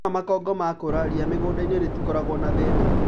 Wona makongo makũra , ria mũgũndaini rĩtĩkoragwo na thĩna.